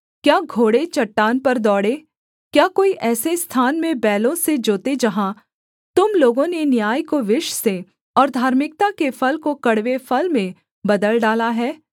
क्या घोड़े चट्टान पर दौड़ें क्या कोई ऐसे स्थान में बैलों से जोते जहाँ तुम लोगों ने न्याय को विष से और धार्मिकता के फल को कड़वे फल में बदल डाला है